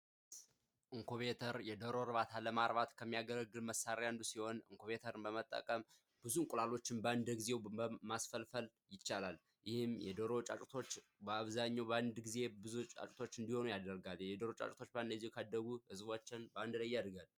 የኢንኩቤተር የዶሮ እርባታ ለማምረት ከሚያገለግሉ መሳሪያዎች አንዱ ሲሆን የኢንኩቤተርን በመጠቀም ብዙ እንቁላሎች በአንድ ጊዜ ማስፈልፈል ይቻላል። ይህም የዶሮ ጫጩቶች በአብዛኛው በአንድ ጊዜ ብዙ ጫጩት እንዲሆኑ ያደርጋል። እንዲሁ ዶሮዎች ጫጩቶች በአንድ ላይ ካደጉ ህዝቦቿ በአንድ ላይ ያድጋሉ።